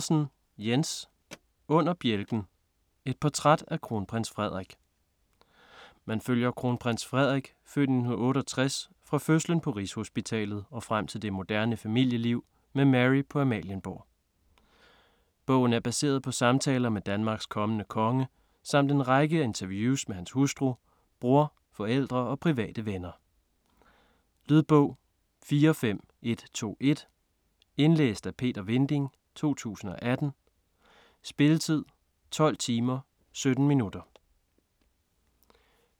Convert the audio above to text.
Andersen, Jens: Under bjælken: et portræt af Kronprins Frederik Man følger Kronprins Frederik (f. 1968) fra fødslen på Rigshospitalet og frem til det moderne familieliv med Mary på Amalienborg. Bogen er baseret på samtaler med Danmarks kommende konge samt en lang række interviews med hans hustru, bror, forældre og private venner. Lydbog 45121 Indlæst af Peter Vinding, 2018. Spilletid: 12 timer, 17 minutter.